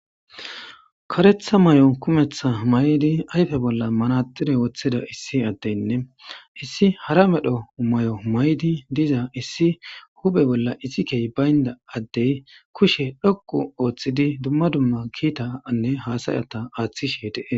Kareththa mayo kumeththa mayidi ayfe bolla manatsire woththida issi addenne issi hara medho maayo mayidi diza issi huuphe bolla issi kehi baynna addee kushe dhoqqu ooththidi dumma dumma kiithaanne haasayatha aaththishe de7ees.